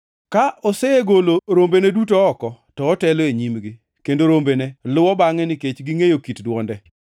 Ka osegolo rombene duto oko, to otelo e nyimgi, kendo rombene luwo bangʼe nikech gingʼeyo kit dwonde.